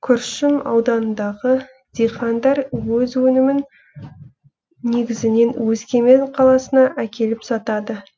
күршім ауданындағы диқандар өз өнімін негізінен өскемен қаласына әкеліп сатады